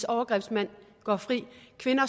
overgrebsmænd går fri